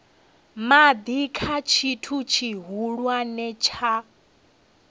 madi kha tshithu tshihulwane tsha